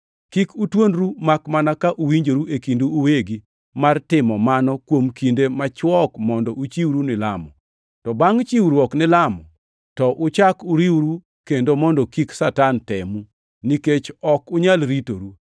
Kik utuonru makmana ka uwinjoru e kindu uwegi mar timo mano kuom kinde machwok mondo uchiwru ni lamo. To bangʼ chiwruok ni lamo, to uchak uriwru kendo mondo kik Satan temu, nikech ok unyal ritoru.